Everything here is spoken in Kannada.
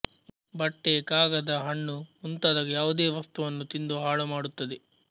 ಬಟ್ಟೆ ಕಾಗದ ಹಣ್ಣು ಮುಂತಾದ ಯಾವುದೇ ವಸ್ತುವನ್ನು ತಿಂದು ಹಾಳುಮಾಡುತ್ತದೆ